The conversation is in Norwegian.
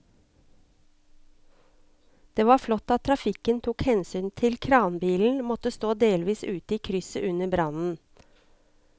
Det var flott at trafikken tok hensyn til at kranbilen måtte stå delvis ute i krysset under brannen.